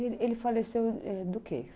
Ele ele faleceu do quê?